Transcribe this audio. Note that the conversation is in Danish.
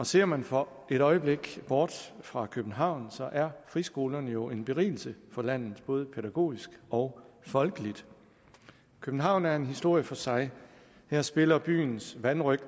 ser man for et øjeblik bort fra københavn så er friskolerne jo en berigelse for landet både pædagogisk og folkeligt københavn er en historie for sig her spiller byens vanrøgt